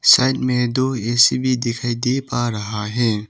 Side में दो AC भी दिखाई दे आ रहा है।